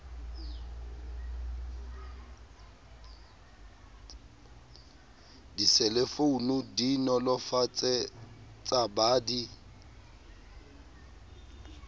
diselefounu di nolofaletsa ba di